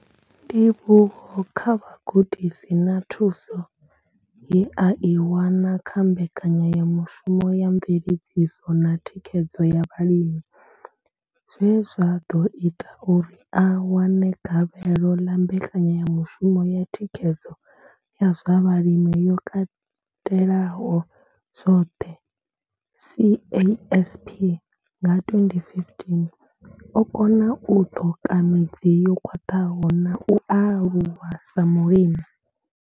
Ndivhuwo kha vhugudisi na thuso ye a i wana kha mbekanyamushumo ya mveledziso na thikhedzo ya vhalimi zwe zwa ḓo ita uri a wane gavhelo ḽa mbekanyamushumo ya Thikhedzo ya zwa vhalimi yo katelaho zwoṱhe, CASP nga 2015, o kona u ṱoka midzi yo khwaṱhaho na u aluwa sa mulimi.